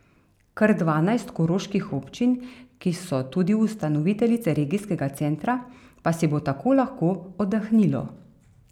Kar dvanajst koroških občin, ki so tudi ustanoviteljice regijskega centra, pa si bo tako lahko oddahnilo.